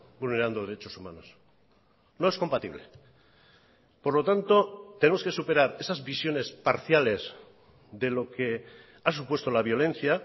vulnerando derechos humanos no es compatible por lo tanto tenemos que superar esas visiones parciales de lo que ha supuesto la violencia